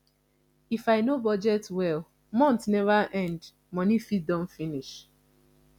if i no budget well month never end money fit don finish